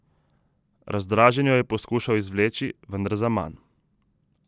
Razdražen jo je poskušal izvleči, vendar zaman.